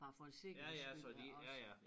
Bare for en sikkerheds skyld er også